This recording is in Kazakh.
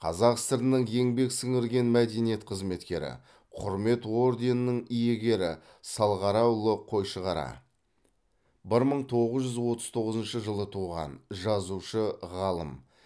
қазақ сср інің еңбек сіңірген мәдениет қызметкері құрмет орденінің иегері салғараұлы қойшығара бір мың тоғыз жүз отыз тоғызыншы жылы туған жазушы ғалым